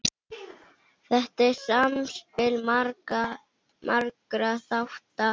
Þetta er samspil margra þátta.